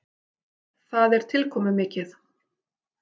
Það er tilkomumikið.